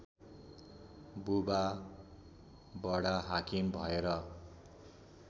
बुबा वडाहाकिम भएर